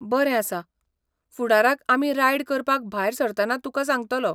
बरें आसा, फुडाराक आमी रायड करपाक भायर सरतना तुकां सांगतलों.